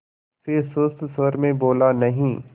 फिर सुस्त स्वर में बोला नहीं